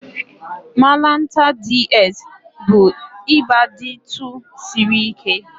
Malanta DS bụ ịba dtu siri ike